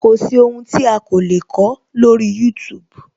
Kò sí ohun tí a o lè kọ lórí youtube